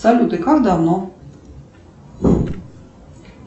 салют и как давно